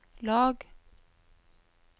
lag